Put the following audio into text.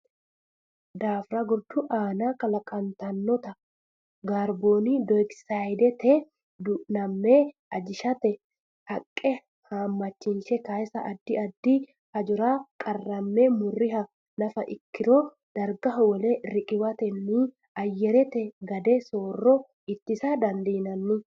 daafira gordu aana kalaqantannota kaarbooni dayokisaydete duunamme ajishate haqqe haammachishe kaasanna addi addi hajara qarramme murriha nafa ikkiro dargaho wole riqiwatenni ayyarete gade soorrama ittisa dandiitanno.